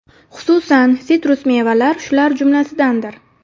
Xususan, sitrus mevalar shular jumlasidandir.